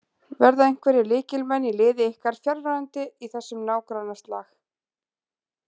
Verða einhverjir lykilmenn í liði ykkar fjarverandi í þessum nágrannaslag?